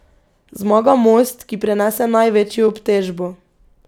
Zmaga most, ki prenese največjo obtežbo.